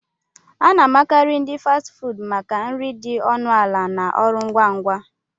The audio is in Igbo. A na-amakarị ndi Fasti fuudu maka nri dị ọnụ ala na ọrụ ngwa ngwa